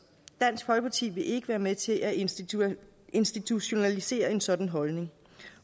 dansk folkeparti vil ikke være med til at institutionalisere institutionalisere en sådan holdning